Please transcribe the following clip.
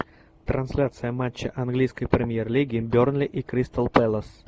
трансляция матча английской премьер лиги бернли и кристал пэлас